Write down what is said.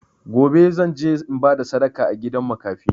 Gobe, zan je in ba da sadaka a gidan makafi.